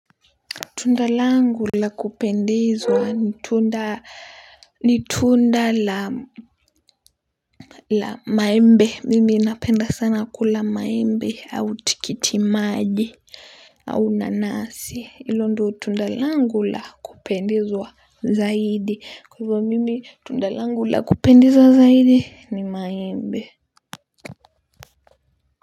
Tunda langu la kupendezwa ni tunda la maembe. Mimi napenda sana kula maembe au tikiti maji au nanasi. Hilo ndo tunda kangu la kupendezwa zaidi. Kwa hivyo mimi tunda langu la kupendezwa zaidi ni maembe.